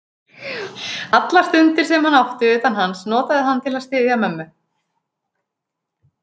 Allar stundir, sem hann átti utan hans, notaði hann til að styðja mömmu.